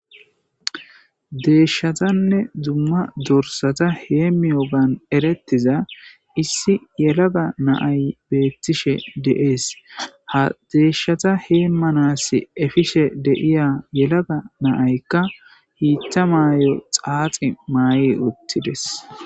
deeshshatanne dumma dorsata heemi yogan erettiza issi yelaga naay beettishe deees ha deeshshata heemmanas efishe deiya yelaga naaykka hiitta maayo xaaxi maa7i uttides